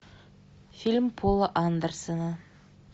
фильм пола андерсона